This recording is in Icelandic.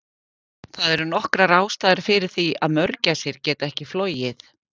Það eru nokkrar ástæður fyrir því að mörgæsir geta ekki flogið.